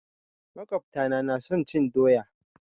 makwabta na na son cin doya.